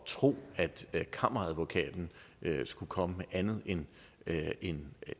tro at at kammeradvokaten skulle komme med andet end en